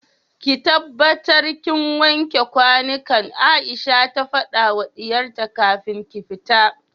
ki tabbatar kin wanke kwanukan Aisha ta fadawa diyarta kafin ki fita